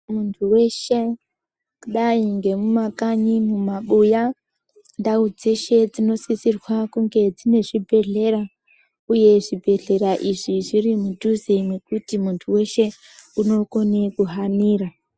Muntu weshe kudai ngemumakanyi mumabuya ndau dzeshe dzinosisirwa kunga dzine zvibhehlera uye zvibhehlera izvi zviri mudhuze mekuti muntu wese unokone kuhanira.